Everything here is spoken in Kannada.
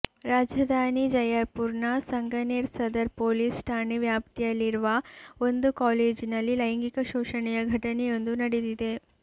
ರಾಜಧಾನಿ ಜಯಪುರ್ನ ಸಂಗನೇರ್ ಸದರ್ ಪೊಲೀಸ್ ಠಾಣೆ ವ್ಯಾಪ್ತಿಯಲ್ಲಿರುವ ಒಂದು ಕಾಲೇಜಿನಲ್ಲಿ ಲೈಂಗಿಕ ಶೋಷಣೆಯ ಘಟನೆಯೊಂದು ನಡೆದಿದೆ